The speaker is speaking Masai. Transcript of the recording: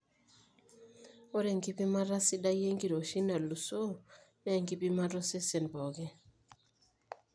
ore enkipimata sidai enkiroshi nalusoo naa enkipimata osesen pooki